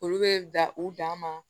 Olu bɛ da u dan ma